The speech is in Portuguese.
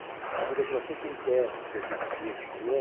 É a burocracia que emperra o serviço público, não é?